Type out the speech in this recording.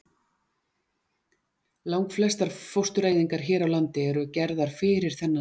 Lang flestar fóstureyðingar hér á landi eru gerðar fyrir þennan tíma.